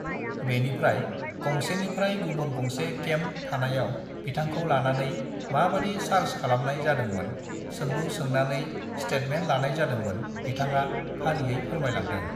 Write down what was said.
बेनिफ्राय गंसेनिफ्राय गुबुन गंसे केम्प थानायाव बिथांखौ लांनानै माबादि चार्ज खालामनाय जादोंमोन सोंलु सोंनानै स्टेटमेंट लानाय जादोंमोन बिथाङा फारियै फोरमायलांदों